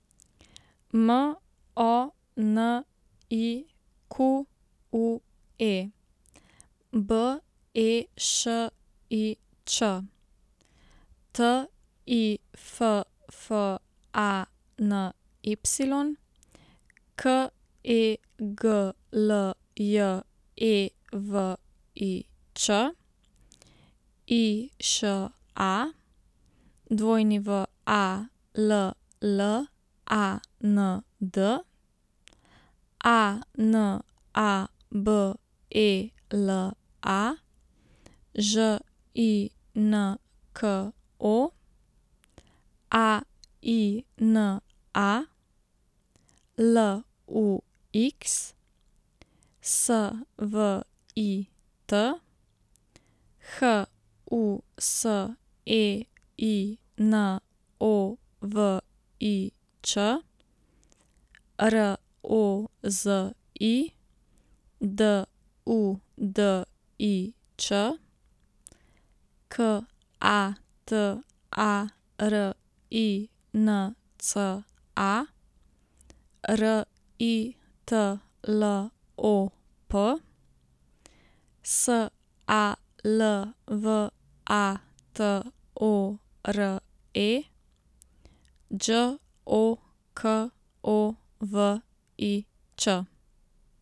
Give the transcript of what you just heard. M O N I Q U E, B E Š I Ć; T I F F A N Y, K E G L J E V I Č; I Š A, W A L L A N D; A N A B E L A, Ž I N K O; A I N A, L U X; S V I T, H U S E I N O V I Ć; R O Z I, D U D I Ć; K A T A R I N C A, R I T L O P; S A L V A T O R E, Đ O K O V I Ć.